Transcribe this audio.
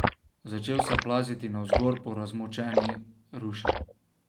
Začel se je plaziti navzgor po razmočeni ruši.